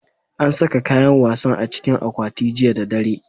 An saka kayan wasan a cikin akwati jiya da dare.